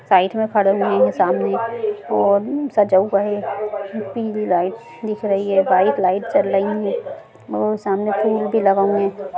Side में खडे हुए है सामने और सजा हुआ है पीली लाइट दिख रही है व्हाइट लाइट जल रही है और सामने फूल भी लगा हुए है।